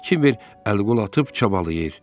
Kiber əl-qol atıb çabalayır.